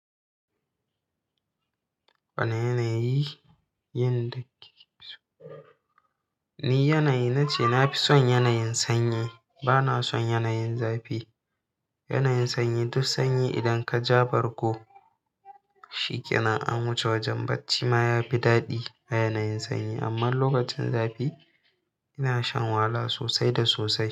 Wane yanayi? Yin da ni yanayi nace nafi son yanayin sanyi. Bana son yanayin zafi. Yanayin sanyi duk sanyi idan ka ja barko, shi kenan an wuce wajen barci ma yafi daɗi a yanayin sanyi. Amma lokacin zafi, ina shan wahala sosai da sosai.